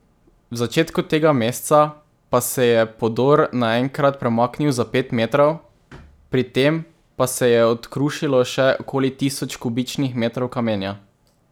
V začetku tega meseca pa se je podor naenkrat premaknil za pet metrov, pri tem pa se je odkrušilo še okoli tisoč kubičnih metrov kamenja.